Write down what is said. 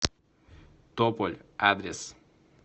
тополь адрес